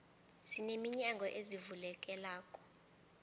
sine minyango ezivulekelako